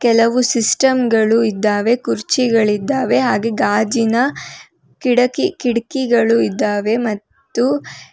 ಕೆಲವು ಸಿಸ್ಟಮ್ ಗಳು ಇದ್ದಾವೆ ಕುರ್ಚಿಗಳಿದ್ದಾವೆ ಹಾಗೆ ಗಾಜಿನ ಕಿಡಕಿ ಕಿಟಕಿಗಳು ಇದ್ದಾವೆ ಮತ್ತು--